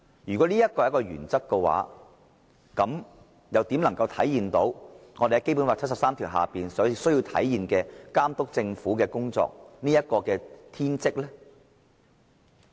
如果這就是修訂的目的，那麼立法會又怎能體現《基本法》第七十三條訂明監督政府的功能和天職呢？